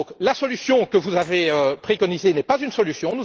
Donc, la solution que vous avez préconisée n'est pas une solution.